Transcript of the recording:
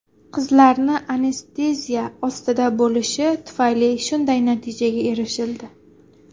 Qizlarni anesteziya ostida bo‘lishi tufayli shunday natijaga erishildi.